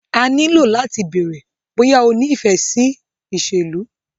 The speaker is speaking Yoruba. A ní lo láti bèèrè bóyá o ní ìfẹ́ sí ìṣèlú.